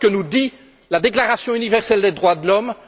Voilà ce que nous dit la déclaration universelle des droits de l'homme.